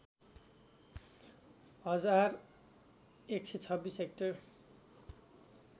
हजार १२६ हेक्टर